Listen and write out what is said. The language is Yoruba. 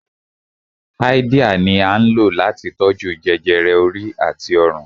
Háídíà ni à ń lò láti tó jú jẹjẹrẹ orí àti ọrùn